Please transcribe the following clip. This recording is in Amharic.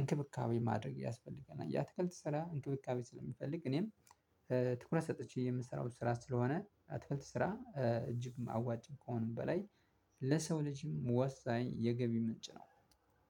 እንክብካቤ ማድረግ ያስፈልገናል የአትክልት ስራ እንክብካቤ ስለሚፈልግ እኔም ትኩረት ሰጥቼ የምሰራው ስራ ስለሆነ አትክልት ስራ እጅግም አዋጭ ከሆኑም በላይ ለሰው ልጅም ወሳኝ የገቢ ምንጭ ነው።